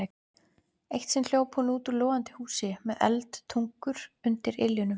Eitt sinn hljóp hún út úr logandi húsi með eldtungur undir iljunum.